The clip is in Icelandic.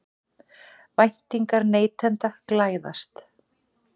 Væntingar neytenda glæðast